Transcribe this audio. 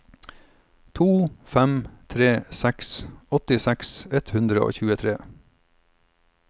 to fem tre seks åttiseks ett hundre og tjuetre